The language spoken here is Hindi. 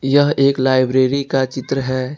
यह एक लाइब्रेरी का चित्र है।